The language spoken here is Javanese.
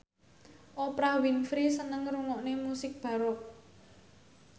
Oprah Winfrey seneng ngrungokne musik baroque